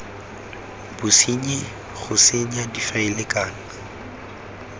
bosenyi go senya difaele kana